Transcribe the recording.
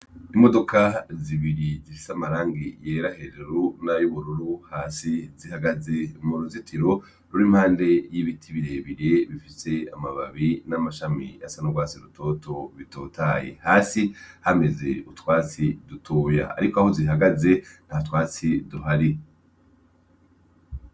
Imodoka zibiri zi ifisamarangi yera hejuru n'ayubururu hasi zihagaze mu ruzitiro ruri impande y'ibiti birebire bifise amababi n'amashami asanurwasi rutoto bitotaye hasi hameze utwasi dutuya, ariko aho zihagaze nta twatsi duhari www.